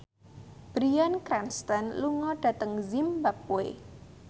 Bryan Cranston lunga dhateng zimbabwe